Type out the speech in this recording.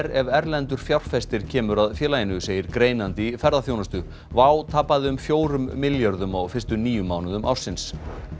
ef erlendur fjárfestir kemur að félaginu segir greinandi í ferðaþjónustu WOW tapaði um fjórum milljörðum á fyrstu níu mánuðum ársins